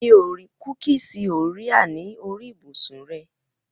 Mi ò rí kúkìsì Orea ní orí ibùsùn rẹ.